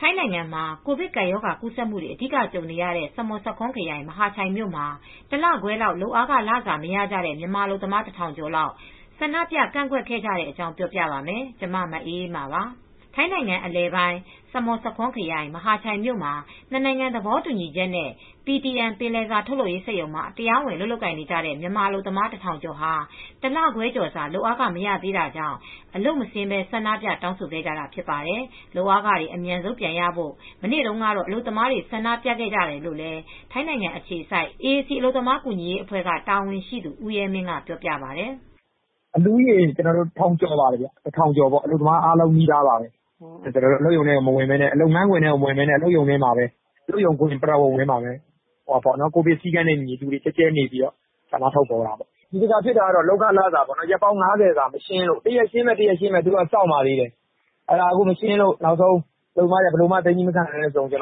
ထိုင်းနိုင်ငံမှာ ကိုဗစ်ကပ်ရောဂါ ကူးစက်မှုတွေ အဓိကကြုံနေရတဲ့ စမွတ်ဆာခွန်းခရိုင်၊ မဟာချိုင်မြို့မှာ ၁ လခွဲလောက် လုပ်ခလစာ မရကြတဲ့ မြန်မာအလုပ်သမား ၁,၀၀၀ ကျော် အလုပ်မဆင်းဘဲ ဆန္ဒပြကန့်ကွက်ခဲ့ကြတဲ့အကြောင်းကို ဗွီအိုအေမြန်မာပိုင်း သတင်းထောက် မအေးအေးမာက ပြောပြပါမယ်။ ထိုင်းနိုင်ငံ အလယ်ပိုင်း စမွတ်ဆာခွန်းခရိုင် မဟာချိုင်မြို့မှာ ၂ နိုင်ငံ သဘောတူညီချက်နဲ့ PTN ပင်လယ်စာ ထုတ်လုပ်ရေးစက်ရုံမှာ တရားဝင် အလုပ်လုပ်နေကြတဲ့ မြန်မာအလုပ်သမား ၁,၀၀၀ ကျော်ဟာ ၁ လခွဲကျော်စာ လုပ်အားခ မရသေးတာကြောင့် အလုပ်မဆင်းဘဲ ဆန္ဒပြတောင်းဆိုခဲ့ကြတာ ဖြစ်ပါတယ်။ လုပ်အားခတွေ အမြန်ဆုံးရဖို့ မနေ့တုန်းက အလုပ်သမားတွေ ဆန္ဒပြခဲ့တာလို့လည်း ထိုင်းနိုင်ငံ အခြေစိုက် AAC အလုပ်သမားကူညီရေးအဖွဲက တာဝန်ရှိသူ ဦးရဲမင်းက ပြောပါတယ်။ “လူဦးရေ ၁,၀၀၀ ကျော်ပေါ့... အလုပ်သမားတွေအားလုံးနီးပါးပါပဲ... ကျနော်တို့ အလုပ်သမားတွေလုပ်ငန်းခွင်ထဲ မဝင်ဘဲ စက်ရုံဝန်းထဲမှာပဲ ကိုဗစ်စည်းကမ်းနဲ့အညီ လူတွေကျဲကျဲနဲ့ ဆန္ဒထုတ်ဖော်တာပေါ့။ ဒီတခါဖြစ်တာက လုပ်အားခလစာ ရက် ၅၀ စာ မရှင်းလို့ တရက်ရှင်းမယ်၊ တရက်ရှင်းမယ်ဆိုပြီး စောင့်နေပါတယ်သေးတယ်။ အဲဒီလို မရှင်းလို့ အလုပ်သမားတွေ သည်းမခံနိုင်တဲ့အဆုံး ကို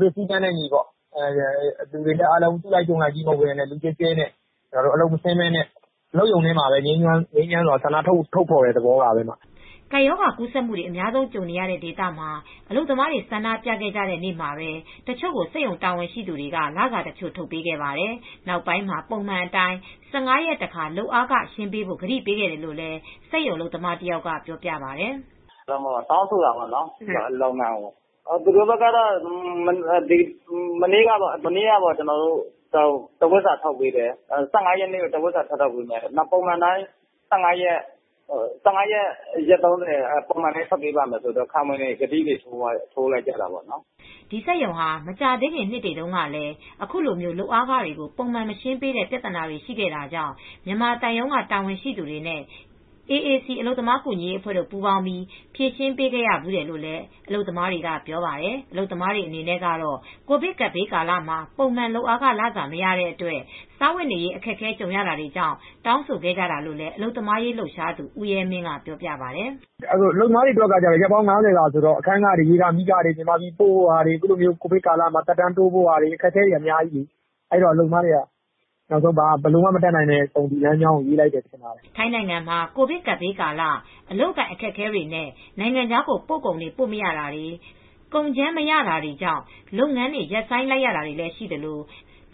ဗစ်စည်းကမ်းနဲ့အညီ အလုပ်မဆင်းဘဲ အလုပ်ရုံထဲမှာပဲငြိမ်းချမ်းစွာ ဆန္ဒထုတ်ဖော်တာပါ။” ကပ်ရောဂါ ကူးစက်မှုတွေ အများဆုံးကြုံနေရတဲ့ ဒေသမှာ အလုပ်သမားတွေ ဆန္ဒပြခဲ့ကြတဲ့ နေ့မှာပဲ တချို့ကို စက်ရုံတာဝန်ရှိသူတွေက လစာတချို့ ထုတ်ပေးခဲ့ပါတယ်။ နောက်ပိုင်းမှာ ပုံမှန်အတိုင်း ၁၅ ရက်တခါ လုပ်အားခရှင်းပေးဖို့ ကတိပေးခဲ့တယ်လို့လည်း စက်ရုံအလုပ်သမားတယောက်က ပြောပြပါတယ်။ “တောင်းဆိုတာပေါ့ စက်ရုံကို သူတို့ဘက်က မနေ့က တဝတ်စာ ထုတ်ပေးတယ် ၁၅ ရက်နေ့မှာနောက်ထပ် တဝတ်စာ ထုတ်ပေးမယ်ပြောတယ်။ နောက်ဆိုရင်တော့ ပုံမှန်တိုင်း ၁၅ ရက်နေ့တခါ၊ ၃၀ ရက်နေ့ တခါ လုပ်အားခထုတ်ပေးပါမယ်လို့ ခံဝန်ဂတိတွေ ထိုးသွားကြတာပေါ့နော်။” ဒီစက်ရုံဟာ မကြာသေးခင်နှစ်တွေတုန်းကလည်း အခုလိုလုပ်အားခကို ပုံမှန်မရှင်းပေးတဲ့ ပြသနာတွေရှိခဲ့တာကြောင့် မြန်မာသံရုံးက တာဝန်ရှိသူတွေနဲ့ AAC အလုပ်သမားကူညီရေးအဖွဲ့ပူးပေါင်းပြီးဖြေရှင်းပေးခဲ့ရဘူးတယ်လို့လည်း အလုပ်သမားတွေက ပြောပါတယ်။ အလုပ်သမားတွေ အနေနဲ့ကတော့ ကိုဗစ်ကပ်ဘေးကာလမှာ ပုံမှန်လုပ်ခလစာ မရတဲ့အတွက် စားဝတ်နေရေး အခက်အခဲ ကြုံရတာကြောင့် တောင်းဆိုခဲ့ကြတာလို့လည်း အလုပ်သမားရေးလှုပ်ရှားသူ ဦးရဲမင်းက ပြောပါတယ်။ “အလုပ်သမားတွေအတွက်ကတော့ ရက်ပေါင်း ၅၀ စာဆိုတော့ အခန်းခတွေ၊ ရေခ၊ မီးခတွေ မြန်မာပြည်က အိမ်ကို ပြန်ပို့ရမယ့်ဟာတွေ ရှိတော့အခက်အခဲတွေရှိတာမို့ အလုပ်သမားတွေက ဘာမှ မတတ်နိုင်လို့ ဒီလမ်းကြောင်းကို ရွေးလိုက်တဲ့သဘောပါပဲ။” ထိုင်းနိုင်ငံမှာ ကပ်ဘေးကာလ အလုပ်အကိုင်အခက်အခဲတွေနဲ့ နိုင်ငံခြားကို ပို့ကုန်တွေ ပို့မရတာတွေ ကုန်ကြမ်းမရတာတွေကြောင့် လုပ်ငန်းတွေ ရပ်ဆိုင်းလိုက်ရတာတွေ ရှိသလို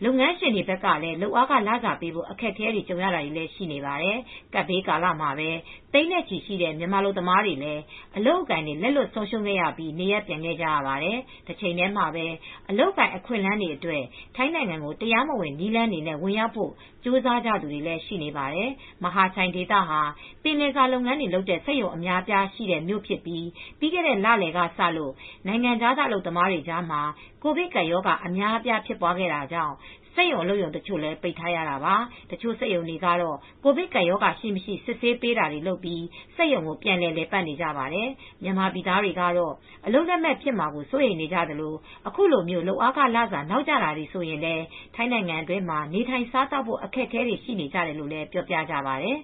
လုပ်ငန်းရှင်တွေ ဘက်ကလည်း လုပ်ခလစာပေးဖို့ အခက်အခဲ ကြုံရတာတွေလည်း ရှိနေပါတယ်။ ကပ်ဘေးကာလမှာပဲ သိန်းနဲ့ချီတဲ့ မြန်မာအလုပ်သမားတွေလည်း အလုပ်အကိုင်တွေ လက်လွတ်ဆုံးရှုံးခဲ့ကြရပြီး နေရပ်ပြန်ခဲ့ကြပါတယ်။ တချိန်တည်းမှာပဲ အလုပ်အကိုင် အခွင့်အလမ်းအတွက် ထိုင်းနိုင်ငံကို တရားမဝင် နည်းလမ်းတွေနဲ့ ဝင်ရောက်ဖို့ ကြိုးစားသူတွေလည်း ရှိနေပါတယ်။ မဟာချိုင်ဒေသဟာ ပင်လယ်စာလုပ်ငန်းတွေ လုပ်တဲ့ စက်ရုံအများအပြားရှိတဲ့မြို့ဖြစ်ပြီး ပြီးခဲ့တဲ့ လလယ်က စလို့ နိုင်ငံခြားသားအလုပ်သမားတွေကြားမှာ ကိုဗစ်ကပ်ရောဂါအများအပြား ဖြစ်ပွားခဲ့တာကြောင့် စက်ရုံအလုပ်ရုံတချို့လည်း ပိတ်ထားရတာပါ။ တချို့စက်ရုံတွေကတော့ ကိုဗစ်ကပ်ရောဂါရှိ၊ မရှိ စစ်ဆေးပေးတာတွေလုပ်ပြီး စက်ရုံကို ပြန်လည် လည်ပတ်နေကြပါတယ်။ မြန်မာပြည်သားတွေကတော့ အလုပ်လက်မဲ့ဖြစ်မှာကို စိုးရိမ်နေကြသလို အခုလိုမျိုး လုပ်အားခလစာ နောက်ကျတာတွေဆိုရင်လည်း ထိုင်းနိုင်ငံတွင်းမှာ နေထိုင်စားသောက်ဖို့ အခက်အခဲတွေ ရှိနေတယ်လို့လည်းပြောပြကြပါတယ်